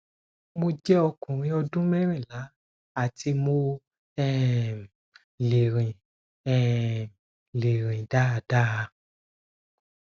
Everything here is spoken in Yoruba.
mo jẹ ọkùnrin ọdún merinla ati mo um le rin um le rin dáadáa